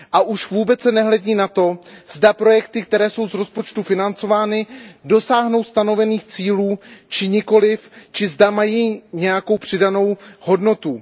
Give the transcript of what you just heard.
Už vůbec se nehledí na to, zda projekty, které jsou z rozpočtu financovány, dosáhnou stanovených cílů či nikoliv či zda mají nějakou přidanou hodnotu.